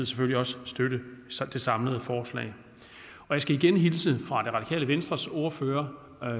selvfølgelig også støtte det samlede forslag jeg skal igen hilse fra det radikale venstres ordfører